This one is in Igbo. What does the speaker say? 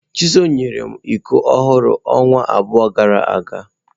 Chisom nyere m iko ọhụrụ ọnwa abụọ gara aga.